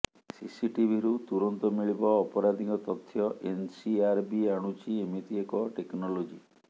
ସିସିଟିଭିରୁ ତୁରନ୍ତ ମିଳିବ ଅପରାଧୀଙ୍କ ତଥ୍ୟ ଏନ୍ସିଆରବି ଆଣୁଛି ଏମିତି ଏକ ଟେକ୍ନୋଲୋଜି